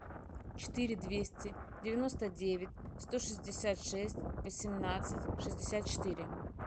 четыре двести девяносто девять сто шестьдесят шесть восемнадцать шестьдесят четыре